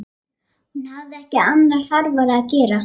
Hún hafði ekki annað þarfara að gera.